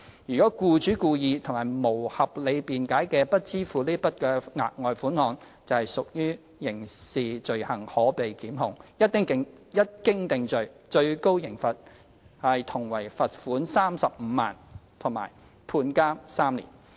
如僱主故意及無合理辯解而不支付該額外款項，則屬刑事罪行，可被檢控，一經定罪，最高刑罰同為罰款35萬元及判監3年。